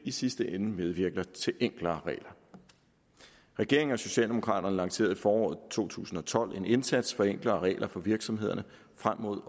i sidste ende medvirker til enklere regler regeringen og socialdemokraterne lancerede i foråret to tusind og tolv en indsats for enklere regler for virksomhederne frem mod